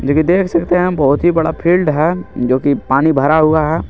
जो की देख सकते हैं बहुत ही बड़ा फील्ड है जो की पानी भरा हुआ है।